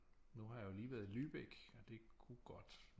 Nu har jeg jo lige været i Lübeck og det kunne godt